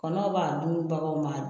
Kɔnɔw b'a dun baganw b'a dun